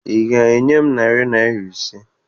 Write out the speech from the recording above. Ị ga-enye m narị naịra ise?